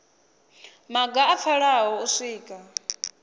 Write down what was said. maga a pfalaho u swika